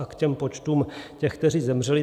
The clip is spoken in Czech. A k těm počtům těch, kteří zemřeli.